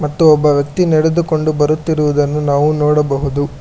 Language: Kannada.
ಮತ್ತು ಒಬ್ಬ ವ್ಯಕ್ತಿ ನಡೆದುಕೊಂಡು ಬರುತ್ತಿರುವುದನ್ನು ನಾವು ನೋಡಬಹುದು.